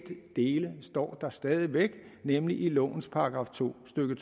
dele står der stadig væk nemlig i lovens § to stykke